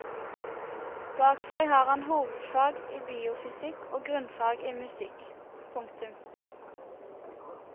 Bak seg har han hovedfag i biofysikk og grunnfag i musikk. punktum